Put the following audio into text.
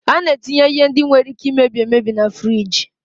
Ana etinye ihe ndị nwere Ike imebi emebi na furige.